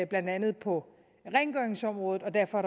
blandt andet på rengøringsområdet og derfor